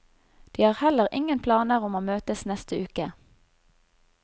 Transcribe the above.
De har heller ingen planer om å møtes neste uke.